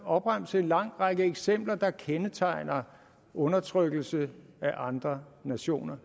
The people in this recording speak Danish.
opremse en lang række eksempler der kendetegner undertrykkelse af andre nationer